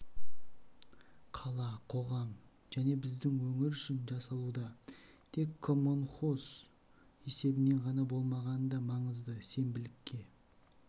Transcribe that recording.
қала қоғам және біздің өңір үшін жасалуда тек коммунхоз есебінен ғана болмағаны да маңызды сенбілікке